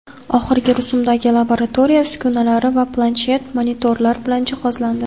oxirgi rusumdagi laboratoriya uskunalar va planshet monitorlar bilan jihozlandi.